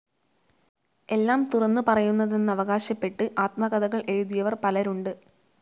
എല്ലാം തുറന്നു പറയുന്നതെന്നവകാശപ്പെട്ട് ആത്മകഥകൾ എഴുതിയവർ പലരുണ്ട്.